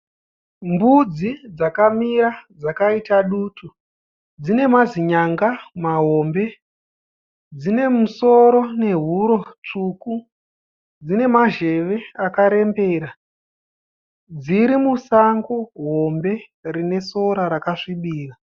Mbudzi dzakamira dzakaita dutu. Dzine mazinyanga mahombe, dzine musoro nehuro tsvuku dzine mazheve akarembera. Dziri musango hombe rinesora rakasvibira.